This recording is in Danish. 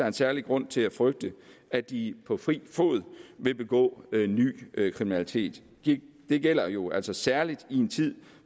en særlig grund til at frygte at de på fri fod vil begå ny kriminalitet det gælder jo altså særlig i en tid